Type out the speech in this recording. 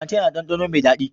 Flantain yana da ɗanɗano mai daɗi.